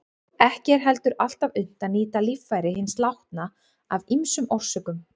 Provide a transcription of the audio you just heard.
Ekki er heldur alltaf unnt að nýta líffæri hins látna af ýmsum orsökum.